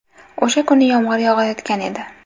O‘sha kuni yomg‘ir yog‘ayotgan edi.